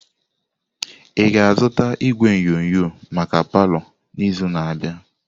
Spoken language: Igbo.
Ị ga-azụta igwe onyonyo maka palọ n'izu na-abịa?